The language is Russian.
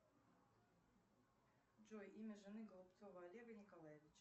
джой имя жены голубцова олега николаевича